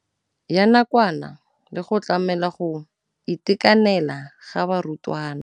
Ya nakwana le go tlamela go itekanela ga barutwana.